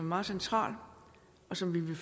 meget central og som vi i